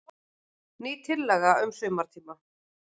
Ný tillaga um sumartíma.